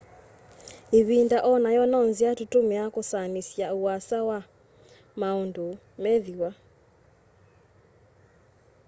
ivinda onayo no nzia tutumiia kusyaanisya uasa wa maundu meethiwa